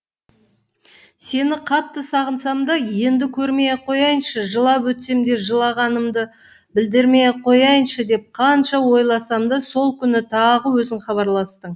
сені қатты сағынсам да енді көрмей ақ қояйыншы жылап өтсем де жылағанымды білдірмей ақ қояйыншы деп қанша ойласам да сол күні тағы өзің хабарластың